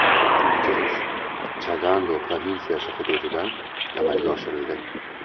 Uchirish Chagando provinsiyasi hududidan amalga oshirildi.